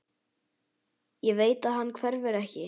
Ég veit að hann hverfur ekki.